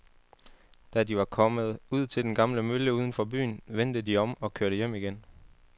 Da de var kommet ud til den gamle mølle uden for byen, vendte de om og kørte hjem igen.